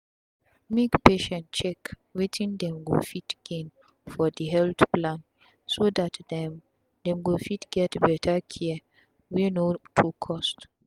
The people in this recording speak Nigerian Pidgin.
make patient check wetin dem go fit gain for d health plan so dat dem dem go fit get better care wey no too cost